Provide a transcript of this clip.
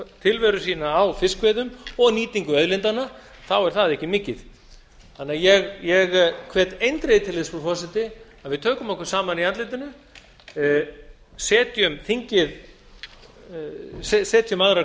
tilveru sína á fiskveiðum og nýtingu auðlindanna er það ekki mikið ég hvet því eindregið til þess frú forseti að við tökum okkur saman í andlitinu setjum aðrar